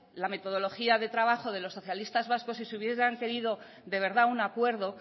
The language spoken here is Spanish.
la metodología de trabajo de los socialistas vascos si se hubiera querido de verdad un acuerdo